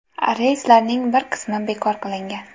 Reyslarning bir qismi bekor qilingan.